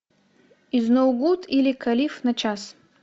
изноугуд или калиф на час